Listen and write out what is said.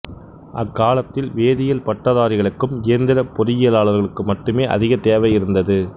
அக்காலத்தில் வேதியியல் பட்டதாரிகளுக்கும் இயந்திரப் பொறியிலாளர்களுக்கும் மட்டுமே அதிக தெவை இருந்தது